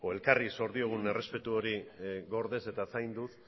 elkarri zor diogun errespetu hori gordez eta zainduz